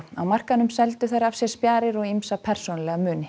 á markaðinum seldu þær af sér spjarir og ýmsa persónulega muni